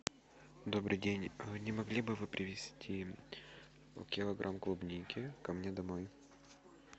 добрый день не могли бы вы привезти килограмм клубники ко мне домой